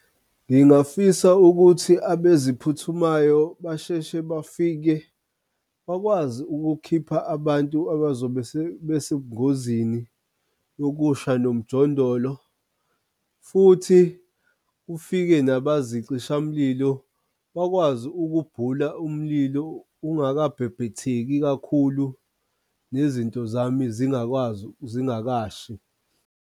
Ngingafisa ukuthi abeziphuthumayo basheshe bafike bakwazi ukukhipha abantu abazobe besebungozini yokusha nomjondolo futhi kufike nabazicishamlilo bakwazi ukubhula umlilo ungakabhebhetheki kakhulu, nezinto zami zingakwazi, zingakashi.